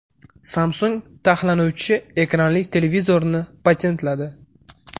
Samsung taxlanuvchi ekranli televizorini patentladi.